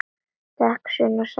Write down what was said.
Takk, Sunna, sagði hann.